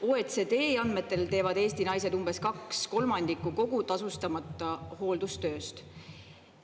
OECD andmetel teevad Eesti naised umbes kaks kolmandikku kogu tasustamata hooldustööst.